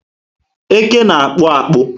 Eke ná akpu akpu